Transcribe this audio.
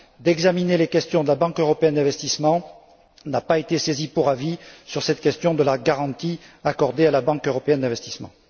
d'examiner les questions de la Banque européenne d'investissement, n'a pas été saisie pour avis sur cette question de la garantie accordée à la Banque européenne d'investissement.